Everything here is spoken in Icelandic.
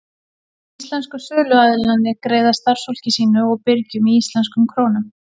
Íslensku söluaðilarnir greiða starfsfólki sínu og birgjum í íslenskum krónum.